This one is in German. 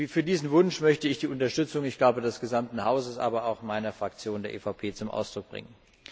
Für diesen Wunsch möchte ich die Unterstützung, ich glaube, des gesamten Hauses, aber auch meiner Fraktion, der EVP, zum Ausdruck bringen.